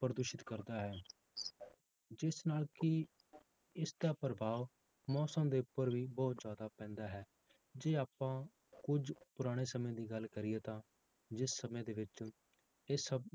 ਪ੍ਰਦੂਸ਼ਿਤ ਕਰਦਾ ਹੈ ਜਿਸ ਨਾਲ ਕਿ ਇਸਦਾ ਪ੍ਰਭਾਵ ਮੌਸਮ ਦੇ ਉੱਪਰ ਵੀ ਬਹੁਤ ਜ਼ਿਆਦਾ ਪੈਂਦਾ ਹੈ, ਜੇ ਆਪਾਂ ਕੁੱਝ ਪੁਰਾਣੇ ਸਮੇਂ ਦੀ ਗੱਲ ਕਰੀਏ ਤਾਂ ਜਿਸ ਸਮੇਂ ਦੇ ਵਿੱਚ ਇਹ ਸਭ